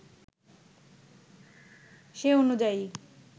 সে অনূযায়ী